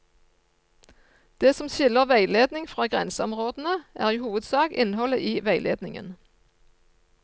Det som skiller veiledning fra grenseområdene, er i hovedsak innholdet i veiledningen.